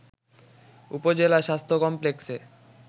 উপজেলা স্বাস্থ্য কমপ্লেক্সে